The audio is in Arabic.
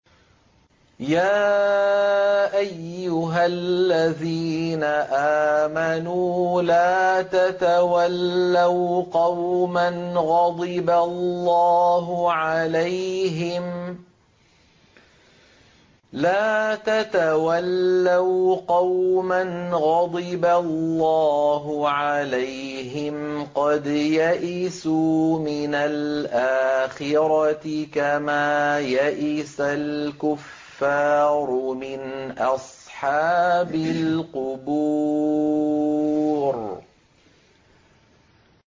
يَا أَيُّهَا الَّذِينَ آمَنُوا لَا تَتَوَلَّوْا قَوْمًا غَضِبَ اللَّهُ عَلَيْهِمْ قَدْ يَئِسُوا مِنَ الْآخِرَةِ كَمَا يَئِسَ الْكُفَّارُ مِنْ أَصْحَابِ الْقُبُورِ